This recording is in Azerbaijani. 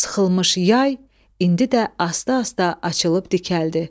Sıxılmış yay indi də asta-asta açılıb dikəldi.